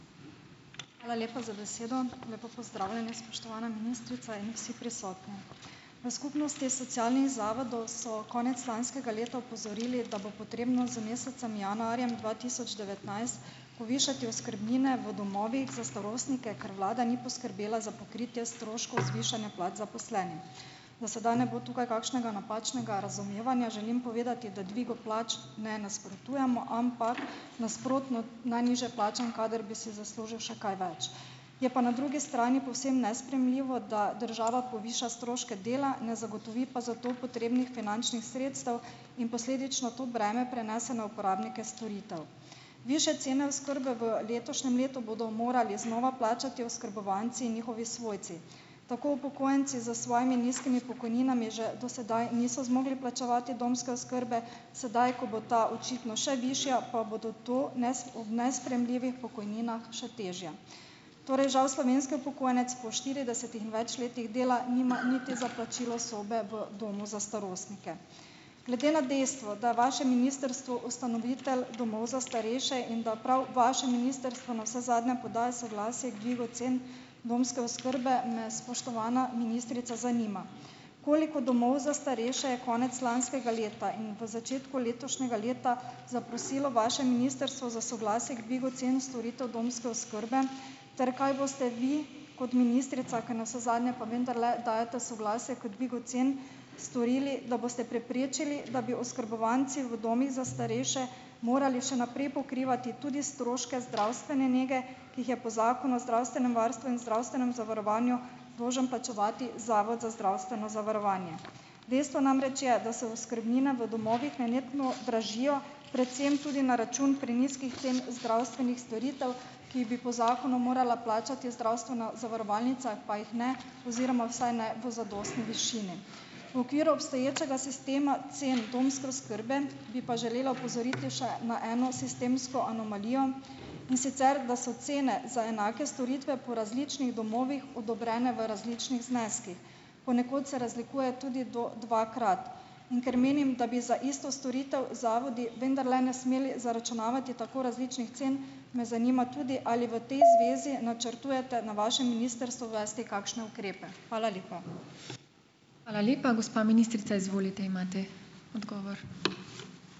Hvala lepa za besedo. Lepo pozdravljeni, spoštovana ministrica in vsi prisotni. V skupnosti socialnih zavodov so konec lanskega leta opozorili, da bo potrebno z mesecem januarjem dva tisoč devetnajst povišati oskrbnine v domovih za starostnike, ker vlada ni poskrbela za pokritje stroškov zvišanja plač zaposlenim. Da sedaj ne bo tukaj kakšnega napačnega razumevanja, želim povedati, da dvigu plač ne nasprotujemo, ampak nasprotno, najnižje plačan kader bi si zaslužil še kaj več. Je pa na drugi strani povsem nesprejemljivo, da država poviša stroške dela, ne zagotovi pa za to potrebnih finančnih sredstev in posledično to breme prenese na uporabnike storitev. Višje cene oskrbe v letošnjem letu bodo morali znova plačati oskrbovanci in njihovi svojci. Tako upokojenci s svojimi nizkimi pokojninami že do sedaj niso zmogli plačevati domske oskrbe, sedaj, ko bo ta očitno še višja, pa bodo to danes, ob nesprejemljivih pokojninah, še težje. Torej žal slovenski upokojenec po štiridesetih in več letih dela nima niti za plačilo sobe v domu za starostnike. Glede na dejstvo, da vaše ministrstvo ustanovitelj domov za starejše in da prav vaše ministrstvo navsezadnje podaja soglasje k dvigu cen domske oskrbe, me, spoštovana ministrica, zanima: Koliko domov za starejše je konec lanskega leta in v začetku letošnjega leta zaprosilo vaše ministrstvo za soglasje k dvigu cen storitev domske oskrbe ter kaj boste vi kot ministrica, ki navsezadnje pa vendarle dajete soglasje k dvigu cen, storili, da boste preprečili, da bi oskrbovanci v domovih za starejše morali še naprej pokrivati tudi stroške zdravstvene nege, ki jih je po Zakonu o zdravstvenem varstvu in zdravstvenem zavarovanju dolžen plačevati Zavod za zdravstveno zavarovanje? Dejstvo namreč je, da se oskrbnine v domovih nenehno dražijo predvsem tudi na račun prenizkih cen zdravstvenih storitev, ki jih bi po zakonu morala plačati zdravstvena zavarovalnica, pa jih ne, oziroma vsaj ne v zadostni višini. V okviru obstoječega sistema cen domske oskrbe bi pa želela opozoriti še na eno sistemsko anomalijo, in sicer da so cene za enake storitve po različnih domovih odobrene v različnih zneskih. Ponekod se razlikuje tudi do dvakrat. In ker menim, da bi za isto storitev zavodi vendarle ne smeli zaračunavati tako različnih cen, me zanima tudi, ali v potem zvezi načrtujete na vašem ministrstvu uvesti kakšne ukrepe. Hvala lepa.